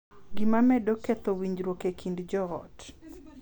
Gima medo ketho winjruok e kind joot.